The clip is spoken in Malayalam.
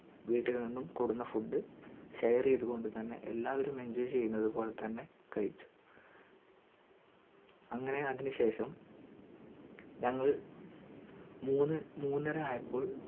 വീട്ടിൽ നിന്ന് കൊടന്ന foodshare യിതു കൊണ്ടുതന്നെ എല്ലാവരും enjoy ചെയ്യുന്ന പോലെ തന്നെ കഴിച്ചു അങ്ങനെ അതിന് ശേഷം ഞങ്ങൾ മൂന്നു മൂന്നര ആയപ്പോൾ